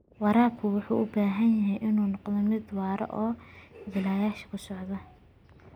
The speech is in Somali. Waraabku wuxuu u baahan yahay inuu noqdo mid waara oo jiilasha soo socda.